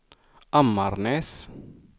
Ammarnäs